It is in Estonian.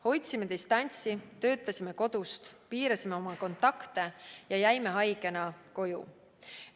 Hoidsime distantsi, töötasime kodust, piirasime oma kontakte ja jäime haigena koju.